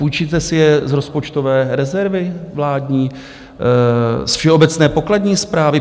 Půjčíte si je z rozpočtové rezervy vládní, z všeobecné pokladní správy?